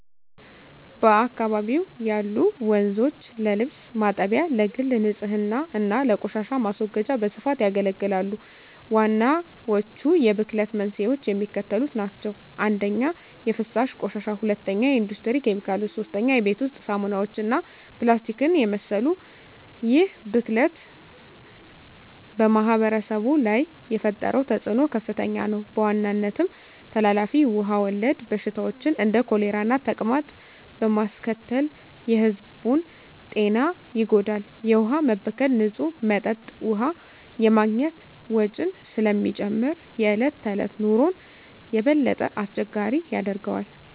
በአካባቢው ያሉ ወንዞች ለልብስ ማጠቢያ፣ ለግል ንፅህና እና ለቆሻሻ ማስወገጃ በስፋት ያገለግላሉ። ዋናዎቹ የብክለት መንስኤዎች የሚከተሉት ናቸው - 1) የፍሳሽ ቆሻሻ 2) የኢንዱስትሪ ኬሚካሎች 3) የቤት ውስጥ ሳሙናዎች እና ፕላስቲክን የመሰሉ ይህ ብክለት በማኅበረሰቡ ላይ የፈጠረው ተፅዕኖ ከፍተኛ ነው፤ በዋናነትም ተላላፊ ውሃ ወለድ በሽታዎችን (እንደ ኮሌራና ተቅማጥ) በማስከተል የሕዝቡን ጤና ይጎዳል። የውሃ መበከል ንፁህ መጠጥ ውሃ የማግኘት ወጪን ስለሚጨምር የዕለት ተዕለት ኑሮን የበለጠ አስቸጋሪ ያደርገዋል።